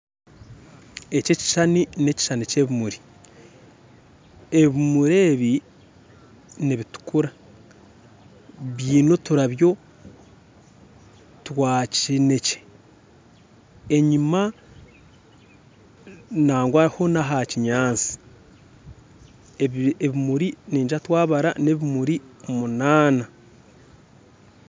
Eki ekishushani n'ekishushani kya ebimuri ebimuri ebi nibitukura biine oturabyo twa kishenekye enyuma nangwa ho na ha kinyaatsi ebimuri ningira twabara ebimuri munaana